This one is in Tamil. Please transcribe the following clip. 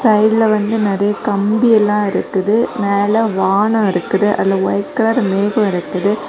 சைடுல வந்து நெறைய கம்பியெல்லா இருக்குது மேல வானொ இருக்குது அதுல ஒயிட் கலர் மேகோ இருக்குது.